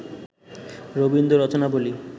Rabindra Rachanabali